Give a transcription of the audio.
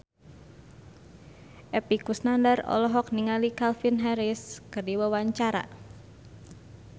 Epy Kusnandar olohok ningali Calvin Harris keur diwawancara